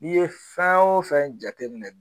N'i ye fɛn o fɛn jateminɛ